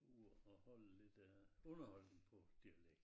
Ude og holde lidt øh underholdning på dialekt